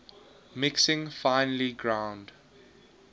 mixing finely ground